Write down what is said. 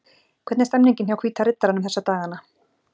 Hvernig er stemmningin hjá Hvíta riddaranum þessa dagana?